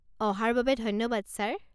অহাৰ বাবে ধন্যবাদ ছাৰ।